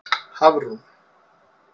Hafrún